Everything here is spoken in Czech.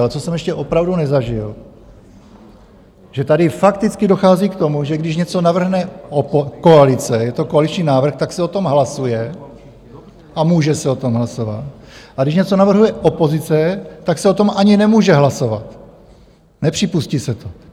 Ale co jsem ještě opravdu nezažil, že tady fakticky dochází k tomu, že když něco navrhne koalice, je to koaliční návrh, tak se o tom hlasuje a může se o tom hlasovat, a když něco navrhuje opozice, tak se o tom ani nemůže hlasovat, nepřipustí se to.